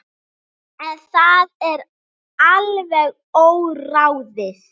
En það er alveg óráðið.